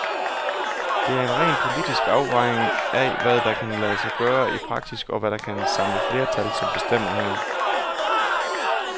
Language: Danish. Det er en ren politisk afvejning af, hvad der kan lade sig gøre i praksis, og hvad der kan samle flertal, som bestemmer her.